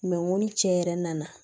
ni cɛ yɛrɛ nana